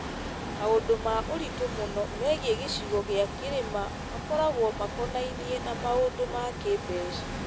Maũndũ ma ũritũ mũno megiĩ gĩcigo gĩa kĩrĩma makoragwo makonainie na maũndũ ma kĩĩmbeca.